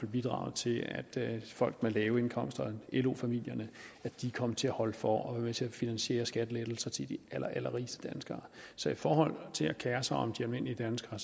bidraget til at folk med lave indkomster lo familierne kom til at holde for og være med til at finansiere skattelettelser til de allerallerrigeste danskere så i forhold til at kere sig om de almindelige danskere